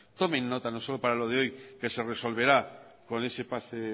tomen nota no solo para lo de hoy que se resolverá con ese pase